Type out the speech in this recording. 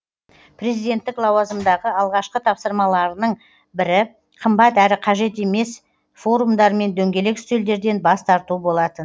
президенттік лауазымдағы алғашқы тапсырмаларының бірі қымбат әрі қажет емес форумдар мен дөңгелек үстелдерден бас тарту болатын